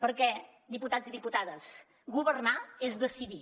perquè diputats i diputades governar és decidir